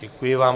Děkuji vám.